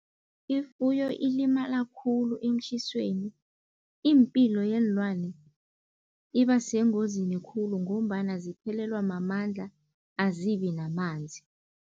Ifuyo ilimala khulu emtjhisweni, iimpilo yeenlwane iba sengozini khulu ngombana ziphelelwa mamandla azibi namanzi.